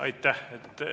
Aitäh!